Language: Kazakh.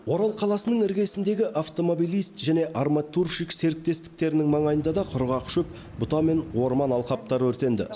орал қаласының іргесіндегі автомобилист және арматурщик серіктестіктерінің маңайында да құрғақ шөп бұта мен орман алқаптары өртенді